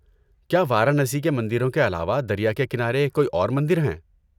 کیا وارانسی کے مندروں کے علاوہ دریا کے کنارے کوئی اور مندر ہیں؟